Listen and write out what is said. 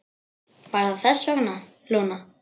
Var það þess vegna, Lúna?